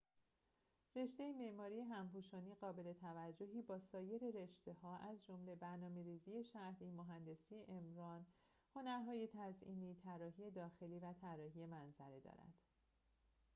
رشته معماری همپوشانی قابل‌توجهی با سایر رشته‌ها از جمله برنامه‌ریزی شهری مهندسی عمران هنرهای تزئینی طراحی داخلی و طراحی منظره دارد